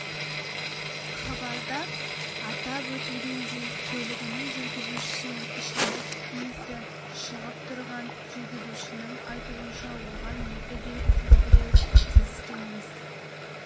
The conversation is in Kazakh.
хабарда атап өтілгендей көлігінің жүргізушісінен ішімдік исі шығып тұрған жүргізушінің айтуынша оған екі белгісіз біреу тиіскен-міс